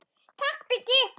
Takk Biggi.